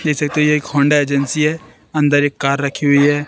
देख सकते है एक होंडा एजेंसी है अंदर एक कार रखी हुई है।